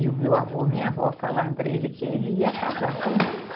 E o meu avô e minha avó falaram para ele que ele ia casar com a moça.